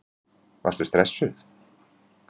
Elísabet: Varstu stressuð?